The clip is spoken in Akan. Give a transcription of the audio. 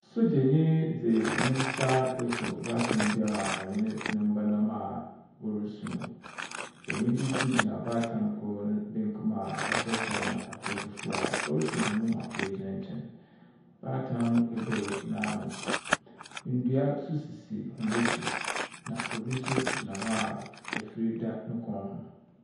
Sogyanyi dze ne nsa asɔ baatan bi a ɔnye ne, ne mba nam a ɔresu. Benyin bi nso gyina baatan korɔ no benkum a ɔhyɛ kyɛw na atar fufuw a oesɔ hɔn mu ma woegyina nkyɛn. Baatan no ebue n'ano. Ndua nso sisi hɔ ekyir, na obi nso gyina hɔ a efir da no kɔn ho.